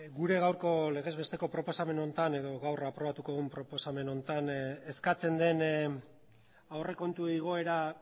gure gaurko legez besteko proposamen honetan edo gaur aprobatuko dugun proposamen honetan eskatzen den aurrekontu igoera